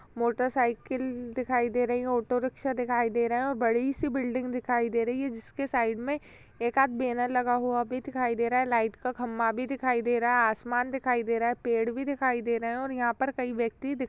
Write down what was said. Motorcycle दिखाई दे रही है ऑटो रिक्शा दिखाई दे रहा है और बड़ी सी बिल्डिंग दिखाई दे रही है जिसके साइड में एक आद बैनर भी लगा हुआ दिखाई दे रहा है। लाइट का खंभा भी दिखाई दे रहा है। आसमान दिखाई दे रहा है। पेड़ भी दिखाई दे रहे हैं और यहां पर कई व्यक्ति दिख --